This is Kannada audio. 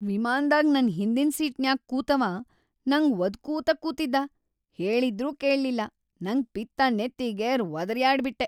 ವಿಮಾನ್ದಾಗ್ ನನ್‌ ಹಿಂದಿನ್‌ ಸೀಟ್ನ್ಯಾಗ್ ಕೂತವಾ ನಂಗ್ ವದ್ಕೂತ ಕೂತಿದ್ದಾ ಹೇಳಿದ್ರೂ ಕೇಳ್ಲಿಲ್ಲಾ ನಂಗ್ ಪಿತ್ತ್‌ ನೆತ್ತಿಗೇರ್ ವದರ್ಯಾಡ್ಬಿಟ್ಟೆ.